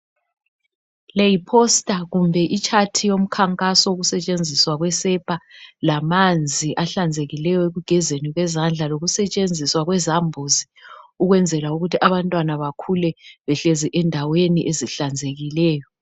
Le yiposter kumbe ichart yomkhankaso wokusetshenziswa kwe sepa lamanzi ahlezekileyo ekugezeni kwezandla, lokusetshenziswa kwezambuzi ukwenzela ukuthi abantwana bakhule behlezi endaweni ezihlanzekileyo.